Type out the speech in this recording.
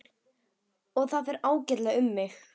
Og það fer ágætlega um mig.